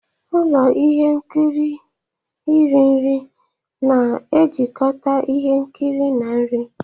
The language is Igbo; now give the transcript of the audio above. Ụlọ ihe nkiri iri nri na-ejikọta ihe nkiri na nri.